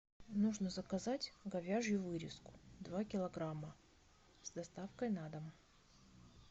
нужно заказать говяжью вырезку два килограмма с доставкой на дом